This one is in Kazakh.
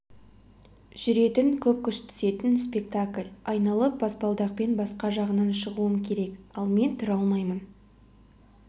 жүретін күш көп түсетін спектакль айналып баспалдақпен басқа жағынан шығуым керек ал мен тұра алмаймын